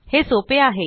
हे सोपे आहे